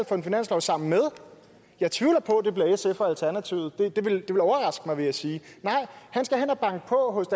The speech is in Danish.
for en finanslov sammen med jeg tvivler på det bliver sf og alternativet det ville overraske mig vil jeg sige han skal hen og banke på hos